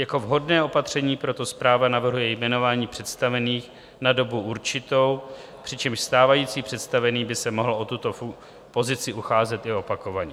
Jako vhodné opatření proto správa navrhuje jmenování představených na dobu určitou, přičemž stávající představený by se mohl o tuto pozici ucházet i opakovaně.